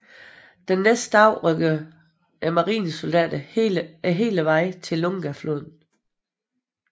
Den næste dag rykkede marinesoldaterne hele vejen til Lungafloden